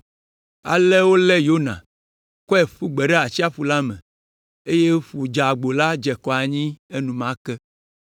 Ale wolé Yona, kɔe ƒu gbe ɖe atsiaƒu la me, eye ƒu dzeagbo la dze akɔ anyi enumake.